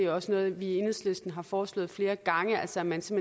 også noget vi i enhedslisten har foreslået flere gange altså at man som